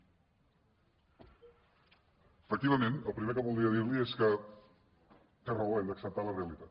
efectivament el primer que voldria dir·li és que té raó hem d’acceptar la realitat